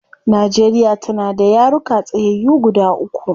Nigeria tana da yaruka tsayyayu guda uku